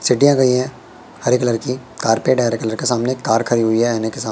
सीढ़ियां गईं हैं। हरे कलर की कार्पेट है हरे कलर का सामने एक कार खड़ी हुई है।